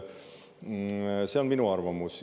See on minu arvamus.